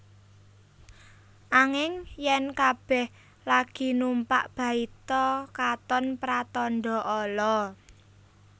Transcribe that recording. Anging yèn kabèh lagi numpak baita katon pratandha ala